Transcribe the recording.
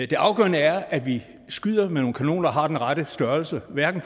det afgørende er at vi skyder med nogle kanoner der har den rette størrelse og hverken